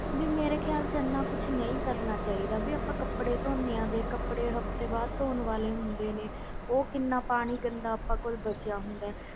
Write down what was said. ਵੀ ਮੇਰੇ ਖ਼ਿਆਲ 'ਚ ਇੰਨਾ ਕੁਛ ਨਹੀਂ ਕਰਨਾ ਚਾਹੀਦਾ ਵੀ ਆਪਾਂ ਕੱਪੜੇ ਧੋਂਦੇ ਹਾਂ ਦੇਖ ਕੱਪੜੇ ਹਫ਼ਤੇ ਬਾਅਦ ਧੌਣ ਵਾਲੇ ਹੁੰਦੇ ਨੇ ਉਹ ਕਿੰਨਾ ਪਾਣੀ ਗੰਦਾ ਆਪਣੇ ਕੋਲ ਬਚਿਆ ਹੁੰਦਾ ਹੈ।